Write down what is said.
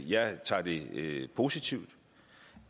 jeg tager det positivt